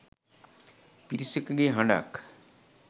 පිරිසකගේ හඬක්